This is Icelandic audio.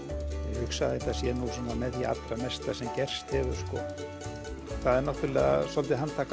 ég hugsa að þetta sé nú með því allra mesta sem gerst hefur sko það er náttúrulega dálítið handtak